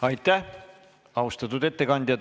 Aitäh, austatud ettekandja!